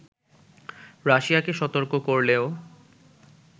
রাশিয়াকে সতর্ক করলেও